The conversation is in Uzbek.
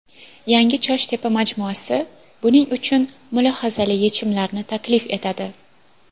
Yangi ChoshTepa majmuasi buning uchun mulohazali yechimlarni taklif etadi.